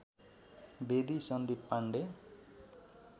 Bedi Sandeep Pandey